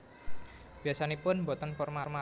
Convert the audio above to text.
Biasanipun boten formal